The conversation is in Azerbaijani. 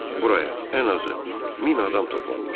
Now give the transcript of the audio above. Buraya ən azı min adam toplanmışdı.